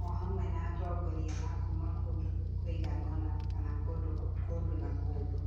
o hamwe na atongoria akuuma kũndũ kũigana ũna, kana kũndũ na kũndũ.